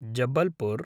Jabalpur